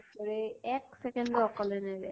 য়ে এক second ও অকলে নেৰে